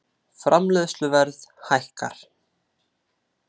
Framleiðsluverð hækkar